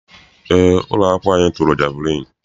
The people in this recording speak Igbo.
Eé, ụlọakwụkwọ anyị tụrụ jeviliini.